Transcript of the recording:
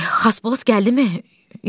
Xaspost gəldimi?